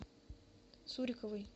суриковой